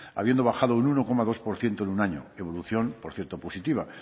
habiendo bajado un uno coma dos por ciento en un año evolución por cierto positiva